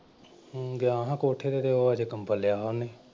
ਹਮ ਗਿਆਂ ਹਾਂ ਕੋਠੇ ਤੇ ਹੋਰ ਅੱਜ ਕੰਬਲ ਲਿਆ ਹੋਇਆ ਉਹਨੇ।